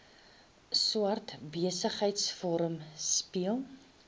swart besigheidsforum speel